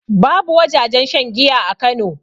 Babu wajajen shan giya a kano